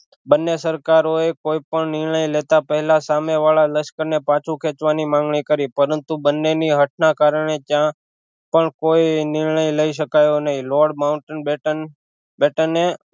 બંને સરકારો એ કોઈ પણ નિર્ણય લેતા પેહલા સામે વાળા લશ્કર ને પાછું ખેચવાની માંગણી કરી પરંતુ બંને ની હટ ના કારણે ત્યાં પણ કોઈ નિર્ણય લઈ શકાયો નહિ લોર્ડ માઉન્ટ બેટન બેટને